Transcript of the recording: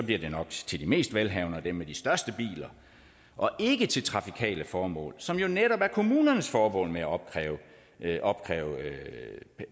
det nok til de mest velhavende og dem med de største biler og ikke til trafikale formål som jo netop er kommunernes formål med at opkræve at opkræve